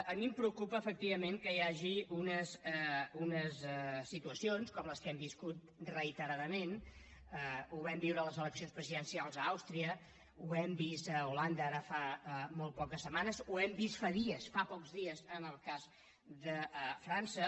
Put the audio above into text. a mi em preocupa efectivament que hi hagi unes situacions com les que hem viscut reiteradament ho vam viure a les eleccions presidencials a àustria ho hem vist a holanda ara fa molt poques setmanes ho hem vist fa dies fa pocs dies en el cas de frança